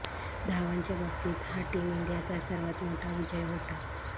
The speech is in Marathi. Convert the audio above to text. धावांच्या बाबतीत हा टीम इंडियाचा सर्वात मोठा विजय होता